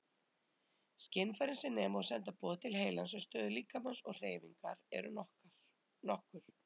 Skynfærin sem nema og senda boð til heilans um stöðu líkamans og hreyfingar eru nokkur.